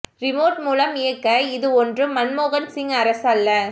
remote மூலம் இயக்க இது ஒன்றும் மன்மோகன் சிங் அரசு அல்ல